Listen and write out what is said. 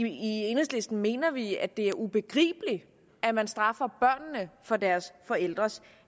i enhedslisten mener vi at det er ubegribeligt at man straffer børnene for deres forældres